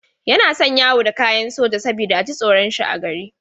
Yana son yawo da kayan soja saboda a ji tsoron shi a gari.